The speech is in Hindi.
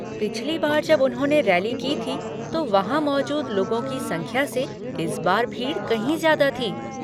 पिछली बार जब उन्होंने रैली की थी तो वहाँ मौजूद लोगों की संख्या से इस बार भीड़ कहीं ज्यादा थी।